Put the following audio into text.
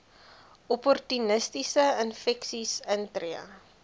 opportunistiese infeksies intree